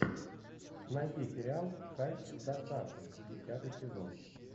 найди сериал кайф с доставкой десятый сезон